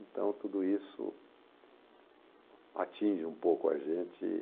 Então, tudo isso atinge um pouco a gente e